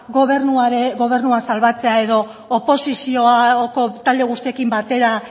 gobernua salbatzea edo oposizioko talde guztiekin batera